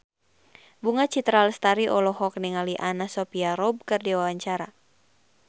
Bunga Citra Lestari olohok ningali Anna Sophia Robb keur diwawancara